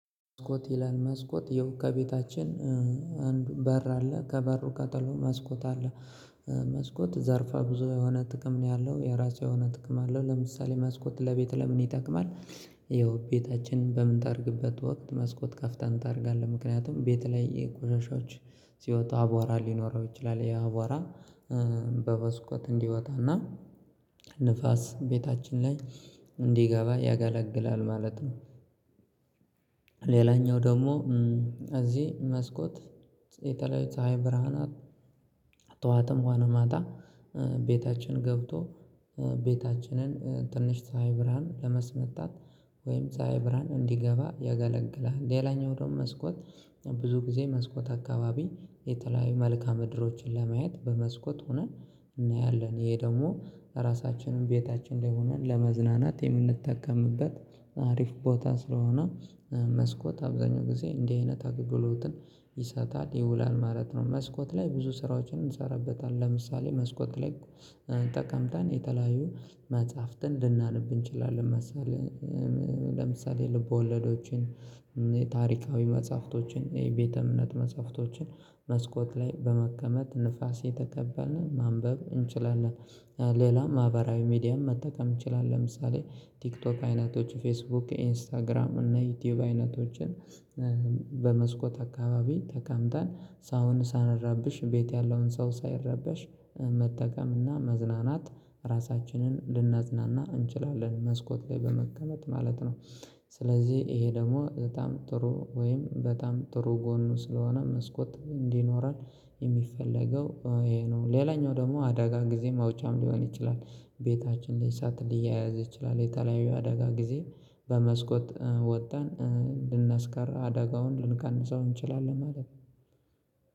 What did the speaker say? መስኮት ይላል መስኮት የው ከቤታችን አንዱ በር አለ ከበሩ ከጥሎ መስኮት አለ። መስኮት ዘርፋ ብዙ የሆነ ጥቅም ነው ያለው የራሱ የሆነ ጥቅም አለው ለምሳሌ መስኮት ለቤት ለምን ይጠቅማል? ይኸው ቤታችን በምንጠርግበት ወቅት መስኮት ከፍተን እንጠርጋለን ምክንያቱም ቤት ላይ የቆሻሻዎች ሲወጣ አቧራ ሊኖረው ይችላል ያ አቧራ በበስኮት እንዲወጣና ንፋስ ቤታችን ላይ እንዲገባ ያገለግላል ማለት ነው። ሌላኛው ደግሞ እዚህ መስኮት የተለያዩ ፀሀይ ብርሃናት ጠዋትም ሆነ ማታ ቤታችን ገብቶ ቤታችንን ትንሽ ፀሀይ ብርሃን ለመስመታት ወይም ፀሀይ ብርሃን እንዲገባ ያገለግላል። ሌላኛው ደግሞ መስኮት ብዙ ጊዜ መስኮት አካባቢ የተለያዩ መልካ ምድሮችን ለማየት በመስኮት ሆነን እናያለን ይሄ ደግሞ ራሳችንን ቤታችን ላይ ሆነን ለመዝናናት የምንጠቀምበት አሪፍ ቦታ ስለሆነ መስኮት አብዛኛው ጊዜ እንዲህ አይነት አገልግሎትን ይሰጣል ይውላል ማለት ነው። መስኮት ላይ ብዙ ስራዎችን እንሰራበታለን ለምሳሌ መስኮት ላይ ተቀምጠን የተለያዩ መጽሐፍትን ልናነብ እንችላለን መሰለኝ መሰለህ ለምሳሌ ልቦለዶችን ታሪካዊ መጽሐፍቶችን የቤተ እምነት መጽሐፍቶችን መስኮት ላይ በመቀመጥ ንፋስ እየተቀበልን ማንበብ እንችላለን። ሌላም ማህበራዊ ሚዲያም መጠቀም እንችላለን ለምሳሌ ቲክቶክ አይነቶች ፌስቡክ ኢንስታግራም እና ዩቲዩብ አይነቶችን በመስኮት አካባቢ ተቀምጠን ሳሁን ሳንረብሽ ቤት ያለውን ሰው ሳይረበሽ መጠቀም እና መዝናናት ራሳችንን ልናዝናና እንችላለን መስኮት ላይ በመቀመጥ ማለት ነው። ስለዚህ ይሄ ደግሞ በጣም ጥሩ ወይም በጣም ጥሩ ጎኑ ስለሆነ መስኮት እንዲኖረን የሚፈለገው ይሄ ነው። ሌላኛው ደግሞ አደጋ ጊዜ ማውጫም ሊሆን ይችላል ቤታችን ላይ እሳት ሊያያዝ ይችላል የተለያዩ አደጋ ጊዜ በመስኮት ወጠን ልናስቀር አደጋውን ልንቀንሰው እንችላለን ማለት ነው።